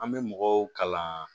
An bɛ mɔgɔw kalan